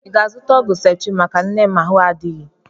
Ị ga-azụta ọgwụ septrịn maka nne m ahụ adịghị?